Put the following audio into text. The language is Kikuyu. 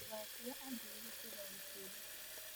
Ndũgakũe athĩĩ gĩkĩra gĩkĩro.